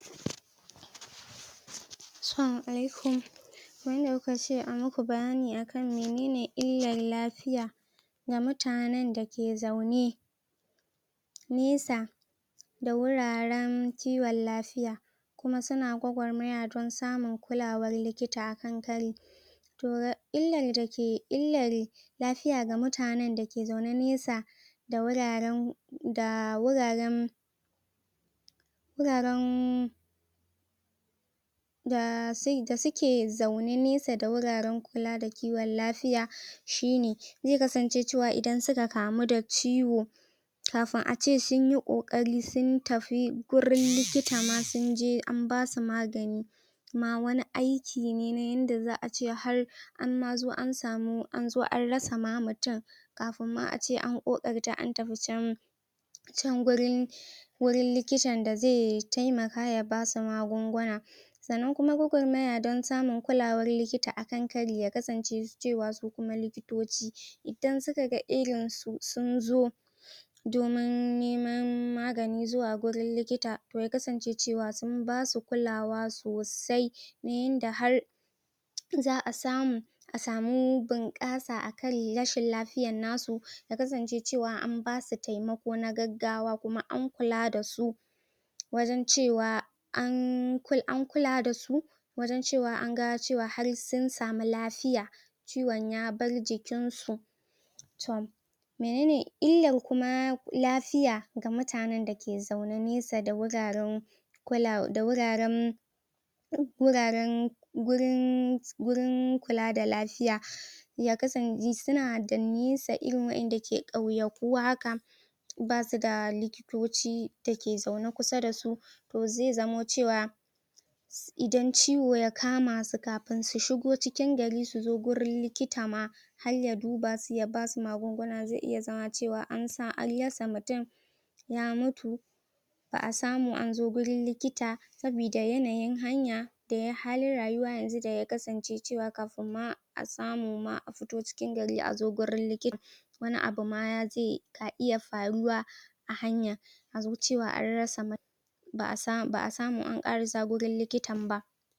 assalama allaikum kamar yarda kukace ayi maku bayani akan menene illar lafiya ga mutanen dake zaune nesa da wuraren kiwon lafiya kuma suna kwakwarmaya da don samun kulawar likita akan kari toh illar dake lafiya ga mutanen dake zaune nesa da wuraren da wuraren wuraren da suke da suke zaune nesa da guraren kula da kiwon kafiya shine zai kasance cewa idan suka kamu da ciwo kan ace sunyi kokari suntafi gurin likita kuma sunje an basu magani na wani aiki ne na yanda za'a ce har an ma zo an samu anzo an rasa ma mutum kafin ma ace kokarta an tafi chan chan gurin wurin likitan zai taimaka ya basu magunguna sannan kuma gwaggwarmaya don samun kulawa a wurin likita akan kari ya kasance cewa su kuma likitoci idan suka ga irin su sunzo domin neman magani zuwa gurin likita ya kasance cewa mun basu kulawa sosai inda har za'a samu a samu bun kasa a karin rashin lafiyar nasu ya kasance cewa an basu taimako na gaggawa kuma an kula dasu wajen cewa an kula da su wajen cewa anga cewa har sun samu lafiya ciwon ya bar jikin su to menene illar kuma lafiya ga mutanen dake zaune nesa da wuraren kula da wuraren wuraren wurin gurin kula da lafiya ya kasance suna da nisa irin wadanda ke kauyaku haka basuda lokitoci dake zaune kusa da su to zai zamo cewa idan ciwo ya kama su kafin su shigo cikin gari suzo gurin likita ma harya duba su ya basu magunguna zai iya zama cewa an san an rasa mutum ya mutu ba'a samu anzo gurin likita sabida yanayin hanya da halin rayuwa yanzu daya kasance cewa kafin ma a samu a fito cikin gari gurin likita wani abun ma na iya faruwa a hanya azo cewa an rasa ba'a samu an karasa wurin likitan ba